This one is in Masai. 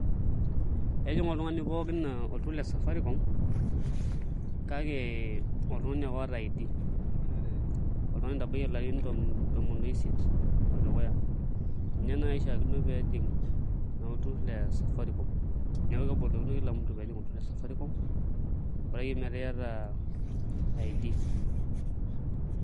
Ejing' oltung'ani pookin olturrur le Safaricom kake kake oltung'ani ake oota ID oltung'ani oitabayie ilarrin tomon oisiet odukuya ninye naai oishiakino pee ejing' naa olturrur le Safaricom neeku kebolokino naa kila mtu pee ejing' olturrur le Safaricom bora akeyie metaa iata ID.